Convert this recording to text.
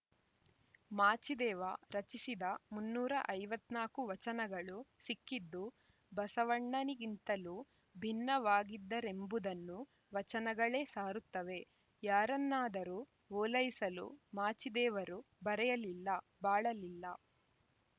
ಮಾಚಿದೇವ ರಚಿಸಿದ ಮುನ್ನೂರ ಐವತ್ತ್ ನಾಕು ವಚನಗಳು ಸಿಕ್ಕಿದ್ದು ಬಸವಣ್ಣನಿಗಿಂತಲೂ ಭಿನ್ನವಾಗಿದ್ದರೆಂಬುದನ್ನು ವಚನಗಳೇ ಸಾರುತ್ತವೆ ಯಾರನ್ನಾದರೂ ಓಲೈಸಲು ಮಾಚಿದೇವರು ಬರೆಯಲಿಲ್ಲ ಬಾಳಲಿಲ್ಲ